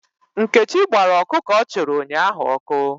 Nkechi gbara ọkụkọ ọ chụrụ ụnyahụ ọkụ.